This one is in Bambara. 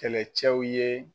Kɛlɛcɛw ye